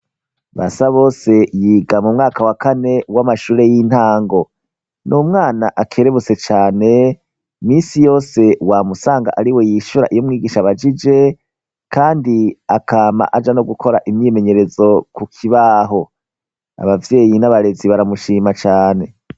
Basabose yiga mu mwaka wa kane w'amashure y'intango ni umwana akerebutse cane misi yose wamusanga ari we yishyura iyo mwigisha bagije kandi akama aja no gukora imyimenyerezo ku kibaho abavyeyi n'abarezi baramushima cane.